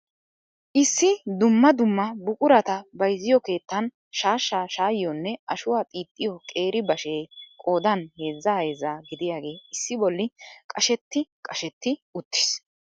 Issi dumma dumma buquratta bayzziyo keettan shaashshaa shaayiyonne ashuwaa xiixxiyo qeeri bashe qoodan heezzaa heezzaa gidiyaagee issi bolli qashet qashet uttiis.